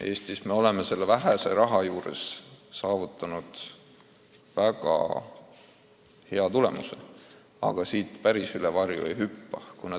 Eestis me oleme vähese rahaga saavutanud väga hea tulemuse ja ega me päris üle oma varju hüpata ei saa.